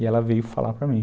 E ela veio falar para mim.